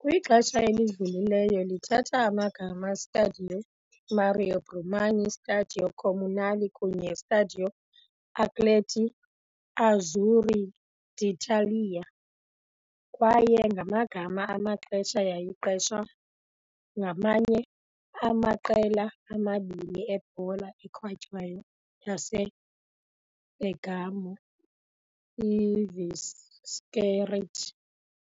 Kwixesha elidlulileyo lithatha amagama Stadio Mario Brumana, Stadio Comunale kunye Stadio Atleti Azzurri d'Italia, kwaye ngamanye amaxesha yayiqeshwa ngamanye amaqela amabini ebhola ekhatywayo yaseBergamo, IViscerit